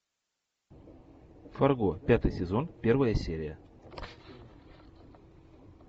фарго пятый сезон первая серия